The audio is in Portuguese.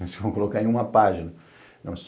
Você vai colocar em uma página.